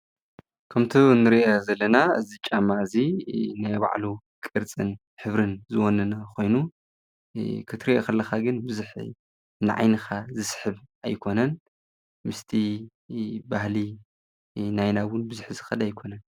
ከምቲ እንሪኦ ዘለና እዚ ጫማ እዚ ናይ ባዕሉ ቅርፅን ሕብርን ዝወነነ ኮይኑ። ክትሪኦ እንተለካ ግን ቡዙሕ ንዓይንካ ዝስሕብ ኣይኮነን ። ምስቲ ባህሊ ናይና እውን ብዙሕ ዝከድ ኣይኮነን።